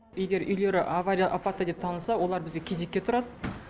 егер үйлері авария апатты деп танылса олар бізге кезекке тұрады